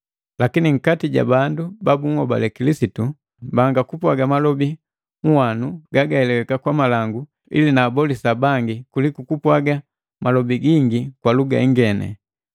Lakini nkati ja bandu babuhobale Kilisitu mbanga kupwaga malobi uhwanu gagaheleweka kwa malangu ili naabolisa bangi kuliku kupwaga malobi gingi kwa luga ingeni.